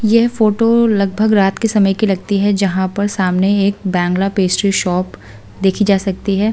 यह फोटो लगभग रात के समय की लगती है जहां पर सामने एक बैंगला पेस्ट्री शॉप देखी जा सकती है ।